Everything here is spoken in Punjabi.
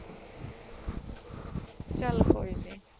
ਚੱਲ ਕੋਈ ਨੀ